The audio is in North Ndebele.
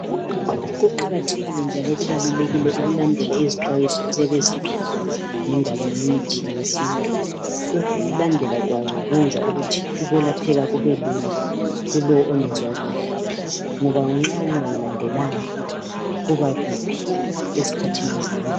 Kuqakathekile njalo kubalulekile ukulandela izixwayiso eziyabe ziphiwe ngendaba yemithi yesintu. Ukulandelwa kwayo kwenza ukuthi ukulapheka kube lula kulowu ongezwa kuhle . Ngoba nxa ungayilandelanga kuba kubi esikhathini ezinengi.